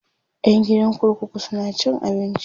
ƴan gidan kurkuku suna cin abinci